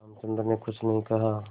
रामचंद्र ने कुछ नहीं कहा